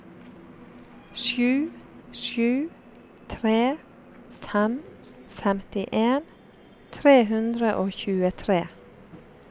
sju sju tre fem femtien tre hundre og tjuetre